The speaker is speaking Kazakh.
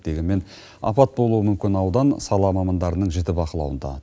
дегенмен апат болуы мүмкін аудан сала мамандарының жіті бақылауында